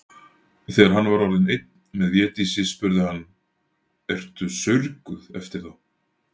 Þegar hann var orðinn einn með Védísi spurði hann:-Ertu saurguð eftir þá.